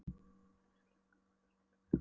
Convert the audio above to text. Biturleika líka, og hatur, allt þetta grófa.